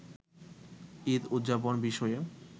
ঈদ উদযাপন বিষয়ে